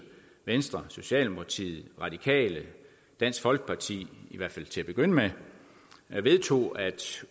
venstre socialdemokratiet de radikale dansk folkeparti i hvert fald til at begynde med vedtog at